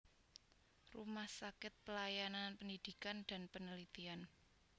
Rumah Sakit Pelayanan Pendidikan dan Penelitian